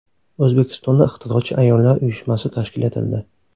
O‘zbekistonda Ixtirochi ayollar uyushmasi tashkil etildi.